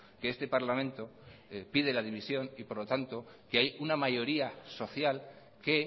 que este parlamento pide la dimisión y por lo tanto que hay una mayoría social que